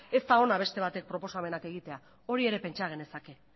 ez da ona beste batek proposamenak egitea hori ere pentsa genezake